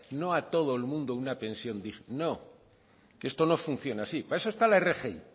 no a todo el mundo una pensión digna no esto no funciona así para eso está la rgi